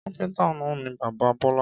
Kápéntà ni bàbá Bọ́lá